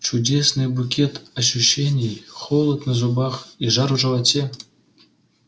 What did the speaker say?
чудесный букет ощущений холод на зубах и жар в животе